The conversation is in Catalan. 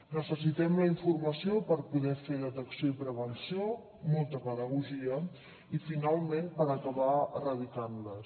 necessitem la informació per poder fer detecció i prevenció molta pedagogia i finalment acabar erradicant les